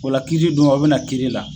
Ola kiri don o be na kiri la